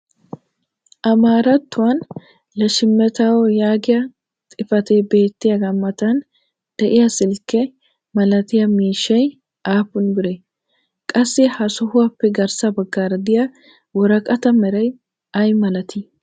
amaarattuwan leshemettaam yaagiyaa xifatee beettiyaagaa matan diya silkke milattiya miishshay aappun biree? qassi ha sohuwaappe garssa bagaara diya woraqataa meray ayi malatii?